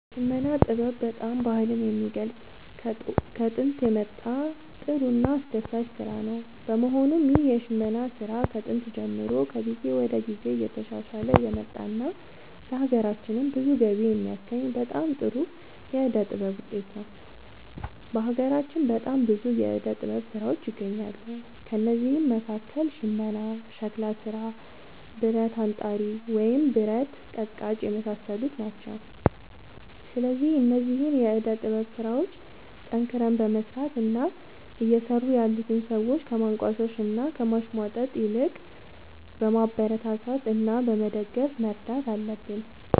የሽመና ጥበብ በጣም ባህልን የሚገልፅ ከጦንት የመጣ ጥሩ እና አስደሳች ስራ ነው በመሆኑም ይህ የሽመና ስራ ከጥንት ጀምሮ ከጊዜ ወደ ጊዜ እየተሻሻለ የመጣ እና ለሀገራችንም ብዙ ገቢ የሚያስገኝ በጣም ጥሩ የዕደ ጥበብ ውጤት ነው። በሀገራችን በጣም ብዙ የዕደ ጥበብ ስራዎች ይገኛሉ ከእነዚህም መካከል ሽመና ሸክላ ስራ ብረት አንጣሪ ወይም ብረት ቀጥቃጭ የመሳሰሉት ናቸው። ስለዚህ እነዚህን የዕደ ጥበብ ስራዎች ጠንክረን በመስራት እና እየሰሩ ያሉትን ሰዎች ከማንቋሸሽ እና ከማሽሟጠጥ ይልቅ በማበረታታት እና በመደገፍ መርዳት አለብን